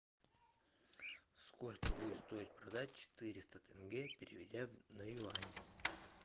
сколько будет стоить продать четыреста тенге переведя на юань